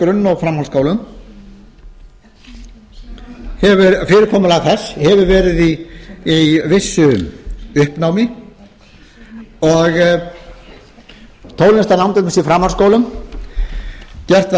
grunn og framhaldsskólum fyrirkomulag þess hefur verið í vissu uppnámi og tónlistarnám til dæmis í framhaldsskólum gert var